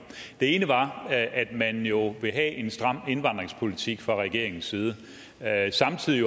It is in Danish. det ene var at man jo vil have en stram indvandringspolitik fra regeringens side samtidig